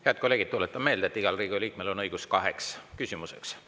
Head kolleegid, tuletan meelde, et igal Riigikogu liikmel on õigus esitada kaks küsimust.